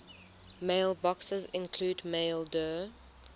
mailboxes include maildir